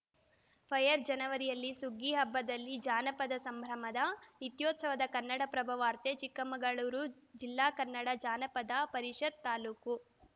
fire ಜನವರಿಯಲ್ಲಿ ಸುಗ್ಗಿಹಬ್ಬದಲ್ಲಿ ಜಾನಪದ ಸಂಭ್ರಮದ ನಿತ್ಯೋತ್ಸವ ಕನ್ನಡಪ್ರಭ ವಾರ್ತೆ ಚಿಕ್ಕಮಗಳೂರು ಜಿಲ್ಲಾ ಕನ್ನಡ ಜಾನಪದ ಪರಿಷತ್‌ ತಾಲೂಕು